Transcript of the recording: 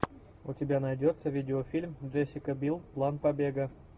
у тебя найдется видеофильм джессика бил план побега